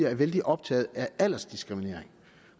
er vældig optaget af aldersdiskriminering